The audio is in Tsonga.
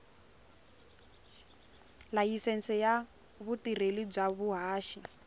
layisense ya vutirheli bya vuhaxi